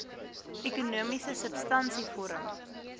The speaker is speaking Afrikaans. ekonomiese substansie vorm